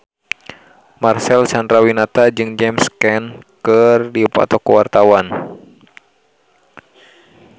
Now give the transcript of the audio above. Marcel Chandrawinata jeung James Caan keur dipoto ku wartawan